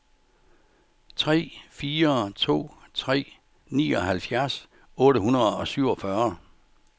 tre fire to tre nioghalvfjerds otte hundrede og syvogfyrre